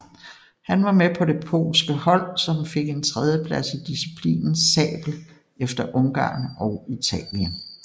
Han var med på de polske hold som fik en tredjeplads i disciplinen sabel efter Ungarn og Italien